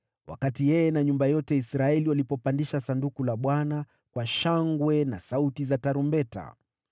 wakati yeye na nyumba yote ya Israeli walipopandisha Sanduku la Bwana kwa shangwe na sauti za tarumbeta.